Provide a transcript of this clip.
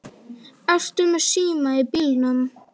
Ertu með síma í bílnum?